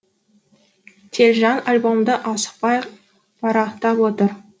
телжан альбомды асықпай парақтап отыр